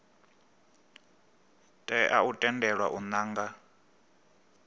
tea u tendelwa u nanga